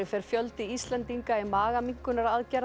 fer fjöldi Íslendinga í